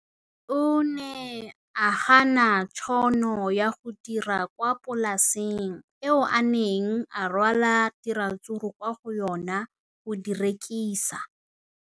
O ne a gana tšhono ya go dira kwa polaseng eo a neng rwala diratsuru kwa go yona go di rekisa.